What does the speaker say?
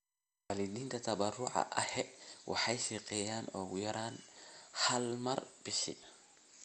Waalidiinta tabaruca ahi waxay shaqeeyaan ugu yaraan hal mar bishii.